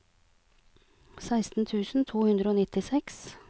seksten tusen to hundre og nittiseks